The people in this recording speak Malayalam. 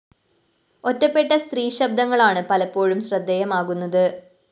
ഒറ്റപ്പെട്ട സ്ത്രീശബ്ദങ്ങളാണ് പലപ്പോഴും ശ്രദ്ധേയമാകുന്നത്